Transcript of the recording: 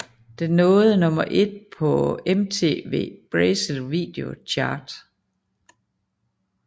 Den nåede nummer 1 på MTV Brasil Video Chart